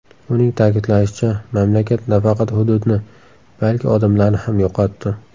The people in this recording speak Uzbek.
Uning ta’kidlashicha, mamlakat nafaqat hududni, balki odamlarni ham yo‘qotdi.